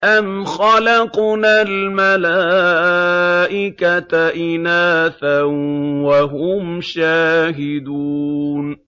أَمْ خَلَقْنَا الْمَلَائِكَةَ إِنَاثًا وَهُمْ شَاهِدُونَ